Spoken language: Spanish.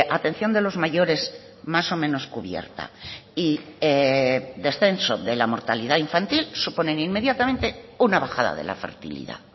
atención de los mayores más o menos cubierta y descenso de la mortalidad infantil suponen inmediatamente una bajada de la fertilidad